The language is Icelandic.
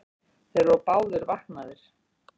Þeir voru báðir vaknaðir.